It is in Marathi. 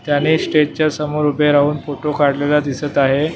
त्यांनी स्टेजच्या समोर उभे राहून फोटो काढलेला दिसत आहे.